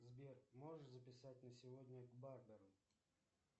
сбер можешь записать на сегодня к барберу